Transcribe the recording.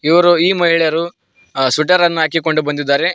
ಇವರು ಈ ಮಹಿಳೆಯರು ಸ್ವೆಟರ್ ಅನ್ನ ಹಾಕಿಕೊಂಡು ಬಂದಿದ್ದಾರೆ.